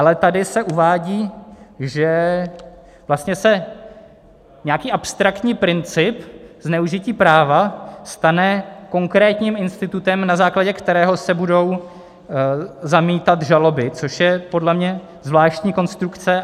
Ale tady se uvádí, že vlastně se nějaký abstraktní princip zneužití práva stane konkrétním institutem, na základě kterého se budou zamítat žaloby, což je podle mě zvláštní konstrukce.